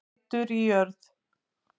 Rætur í jörð